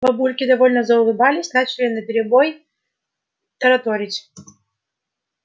бабульки довольно заулыбались начали наперебой тараторить